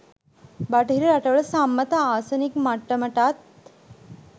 බටහිර රටවල සම්මත ආසනික් මට්ටමටත්